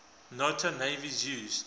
nato navies use